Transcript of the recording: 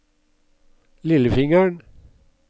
lillefingeren